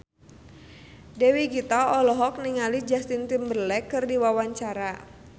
Dewi Gita olohok ningali Justin Timberlake keur diwawancara